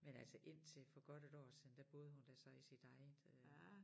Men altså indtil for godt 1 år siden der boede hun da så i sit eget øh